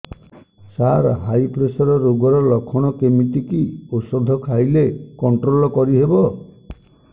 ସାର high pressure ରୋଗର ଲଖଣ କେମିତି କି ଓଷଧ ଖାଇଲେ କଂଟ୍ରୋଲ କରିହେବ